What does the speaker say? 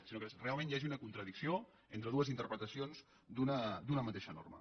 sinó que realment hi hagi una contradicció entre dues interpretacions d’una mateixa norma